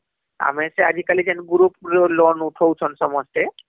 ଆମେ ସେ ଆଜିକାଲି ଯେନ group ରୁ loan ଉଠାଉଛନ ସମସ୍ତେ